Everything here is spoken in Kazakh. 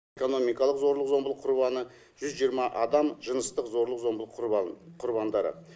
экономикалық зорлық зомбылық құрбаны жүз жиырма адам жыныстық зорлық зомбылық құрбаны құрбандары